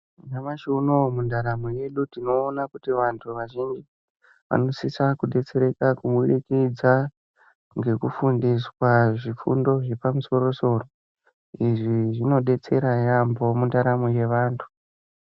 Nyamashi unowu mundaramo yedu tinoona kuti vantu vazhinji vanosisa kudetsereka kubudikidza ngekufundiswa zvifundo zvepamusoro soro izvi zvinodetsera yambo mundaramo yevantu .